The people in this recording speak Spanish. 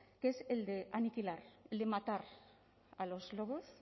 que es el de aniquilar el de matar a los lobos